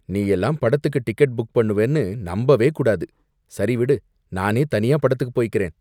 நீயெல்லாம் படத்துக்கு ticket book பண்ணுவேன்னு நம்பவே கூடாது. சரி விடு, நானே தனியா படத்துக்குப் போயிக்கறேன்.